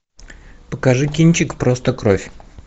покажи кинчик просто кровь